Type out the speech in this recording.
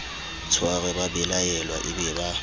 tshware babelaelwa e be ba